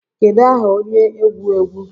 Kedu aha onye egwu egwu